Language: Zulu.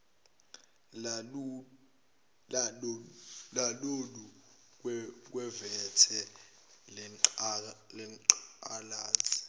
lalolu khuvethe lwengculazi